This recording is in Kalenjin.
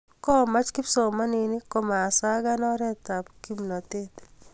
komach kipsomaninik komasagan oret ab kipnatet